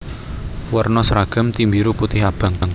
Werna sragam tim biru putih abang